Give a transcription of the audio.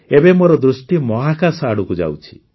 ଏବେ ମୋର ଦୃଷ୍ଟି ମହାକାଶ ଆଡ଼କୁ ଯାଉଛି